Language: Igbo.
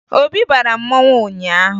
Obi bara mmanwụ ụnyaahụ